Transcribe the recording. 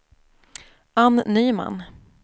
Anne Nyman